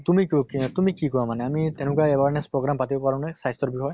তুমি ক কে তুমি কি কোৱা মানে আমি তেনেকুৱা awareness program পাতিব পাৰো নে স্বাস্থ্য়ৰ বষয়ে?